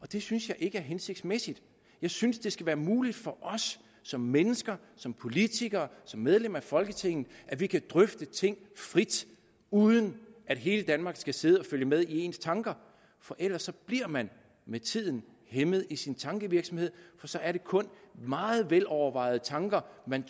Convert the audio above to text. det synes jeg ikke er hensigtsmæssigt jeg synes det skal være muligt for os som mennesker som politikere som medlemmer af folketinget at vi kan drøfte ting frit uden at hele danmark skal sidde og følge med i ens tanker for ellers bliver man med tiden hæmmet i sin tankevirksomhed for så er det kun meget velovervejede tanker man